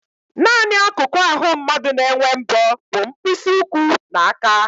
Nanị akụkụ ahụ mmadụ na-enwe mbọ bụ mkpịsị ụkwụ na aka